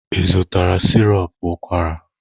Ị zụtara sirop ụkwara?